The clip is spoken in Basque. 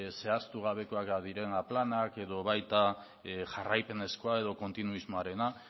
zehaztugabekoak diren planak edo baita jarraipenezkoa edo kontinuismoarena